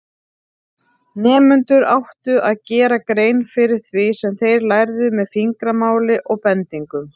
Nemendur áttu að gera grein fyrir því sem þeir lærðu með fingramáli og bendingum.